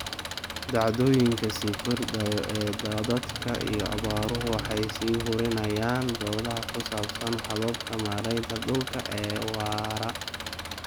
Dhacdooyinka sii kordhaya ee daadadka iyo abaaruhu waxay sii hurinayaan doodaha ku saabsan hababka maaraynta dhulka ee waara.